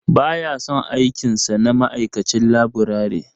Ba ya son aikin sa na ma'aikacin laburare.